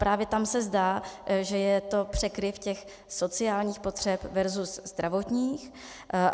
Právě tam se zdá, že je to překryv těch sociálních potřeb versus zdravotních.